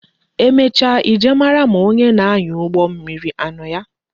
Emecha I jee mara ma onye na-anya ụgbọ mmiri anọ ya